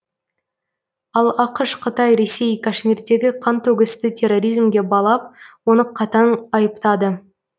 ал ақш қытай ресей кашмирдегі қантөгісті терроризмге балап оны қатаң айыптады